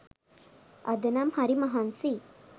අදනම් හරි මහන්සියි